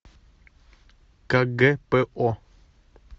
кгпо